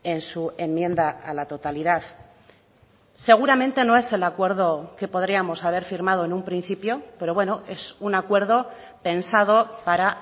en su enmienda a la totalidad seguramente no es el acuerdo que podríamos haber firmado en un principio pero bueno es un acuerdo pensado para